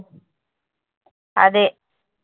അതെ.